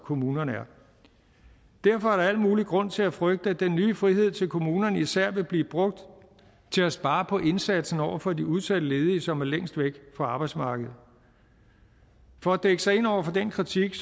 kommunerne er derfor er der al mulig grund til at frygte at den nye frihed til kommunerne især vil blive brugt til at spare på indsatsen over for de udsatte ledige som er længst væk fra arbejdsmarkedet for at dække sig ind over for den kritik